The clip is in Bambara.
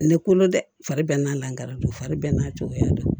Ne kolo dɛ fari bɛɛ n'a lakara don fari bɛɛ n'a cogoya don